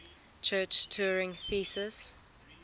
church turing thesis